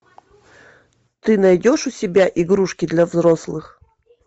ты найдешь у себя игрушки для взрослых